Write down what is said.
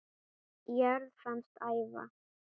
jörð fannst æva